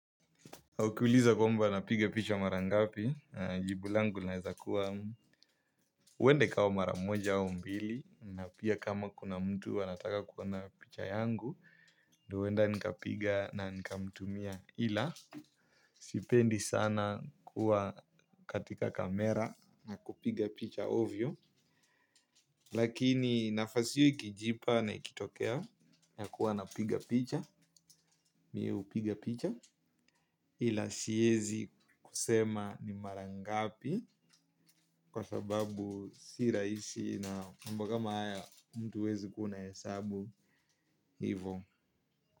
Ukiuliza kwamba napiga picha marangapi, jibulangu naeza kuwa uwenda ikawa maramoja au mbili, na pia kama kuna mtu anataka kuwona picha yangu, ndio uwenda nikapiga na nikamtumia. Ila sipendi sana kuwa katika kamera na kupiga picha ovyo. Lakini nafasio ikijipa na ikitokea na kuwa napiga picha. Miu piga picha ila siyezi kusema ni marangapi. Kwa sababu siraisi na mambo ka ma aya mtu uwezi kuwa unahesabu hivyo.